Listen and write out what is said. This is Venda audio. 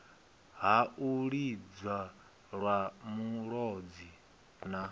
ha u lidzelwa mulodzi na